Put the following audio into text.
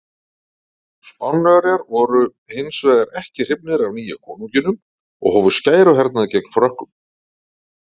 Spánverjar voru hins vegar ekki hrifnir af nýja konunginum og hófu skæruhernað gegn Frökkum.